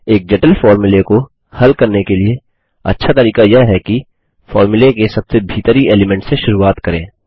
एक जटिल फ़ॉर्मूले को हल करने के लिए अच्छा तरीका यह है कि फ़ॉर्मूले के सबसे भीतरी एलीमेंट से शुरुआत करें